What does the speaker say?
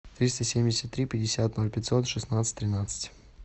триста семьдесят три пятьдесят ноль пятьсот шестнадцать тринадцать